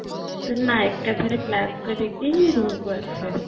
ନା ଏକାଥରେ calss କରିକି room କୁ ଆସେ